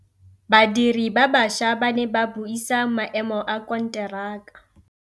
Badiri ba baša ba ne ba buisa maêmô a konteraka.